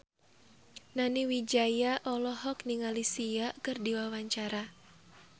Nani Wijaya olohok ningali Sia keur diwawancara